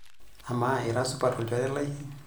Amaa, ira supat olchore lai?